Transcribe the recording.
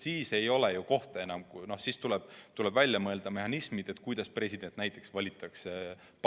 Siis tuleb välja mõelda mehhanismid, kuidas president parlamendis ära valitakse.